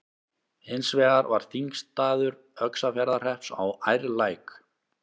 Hins vegar var þingstaður Öxarfjarðarhrepps á Ærlæk.